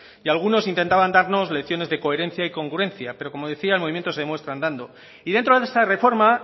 y algunos intentaban darnos lecciones de coherencia y congruencia pero como decía el movimiento se demuestra andando y dentro de esa reforma